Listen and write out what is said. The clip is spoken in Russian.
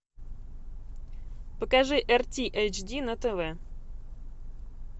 покажи эр ти эйч ди на тв